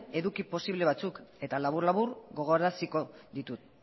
eduki posible batzuk eta labur labur gogoraraziko ditut